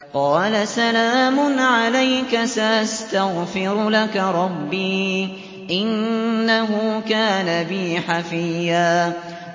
قَالَ سَلَامٌ عَلَيْكَ ۖ سَأَسْتَغْفِرُ لَكَ رَبِّي ۖ إِنَّهُ كَانَ بِي حَفِيًّا